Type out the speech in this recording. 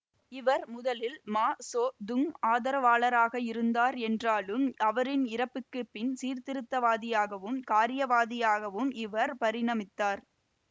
இவர் முதலில் Mao Tse Tung ஆதரவாளராகவே இருந்தார் என்றாலும் அவரின் இறப்புக்கு பின்பு சீர்திருத்தவாதியாகவும் காரியவாதியாகவும் இவர் பரிணமித்தார்